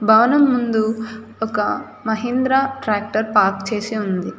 భవనం ముందు ఒక మహీంద్రా ట్రాక్టర్ పార్క్ చేసి ఉంది.